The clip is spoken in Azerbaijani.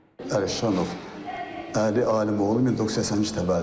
Əlişanov Əli Alimoğlu 1982-ci il təvəllüdlüdür.